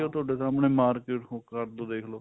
ਤੁਹਾਡੇ ਸਾਮਣੇ market ਹੋਊਗਾ ਉੱਧਰ ਦੇਖਲੋ